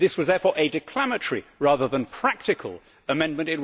This was therefore a declamatory, rather than practical, amendment.